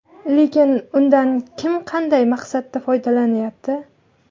Lekin undan kim qanday maqsadda foydalanyapti?